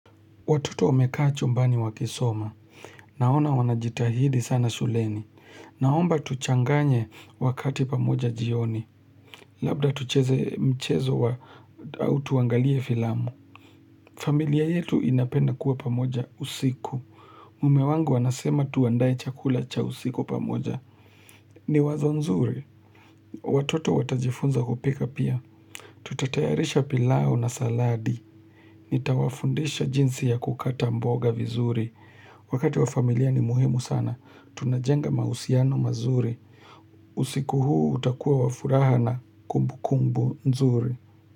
Watoto wamekaa chumbani wakisoma. Naona wanajitahidi sana shuleni. Naomba tuchanganye wakati pamoja jioni. Labda tucheze mchezo wa au tuangalie filamu. Familia yetu inapenda kuwa pamoja usiku. Mume wangu anasema tuandae chakula cha usiku pamoja. Ni wazo nzuri. Watoto watajifunza kupika pia. Tutatayarisha pilao na saladi. Nitawafundisha jinsi ya kukata mboga vizuri. Wakati wa familia ni muhimu sana. Tunajenga mausiano mazuri. Usiku huu utakua wa furaha na kumbu kumbu nzuri.